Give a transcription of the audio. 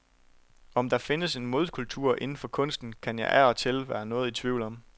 Om der findes en modkultur inden for kunsten, kan jeg af og til være noget i tvivl om.